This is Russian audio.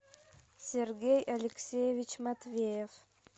сергей алексеевич матвеев